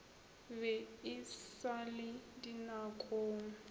be e sa le dinakong